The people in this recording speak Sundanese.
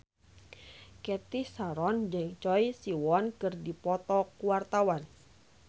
Cathy Sharon jeung Choi Siwon keur dipoto ku wartawan